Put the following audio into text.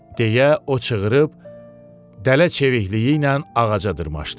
deyə o çığırdıb, dələ çevikliyi ilə ağaca dırmaşdı.